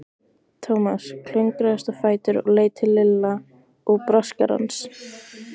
Thomas klöngraðist á fætur og leit til Lilla og Braskarans.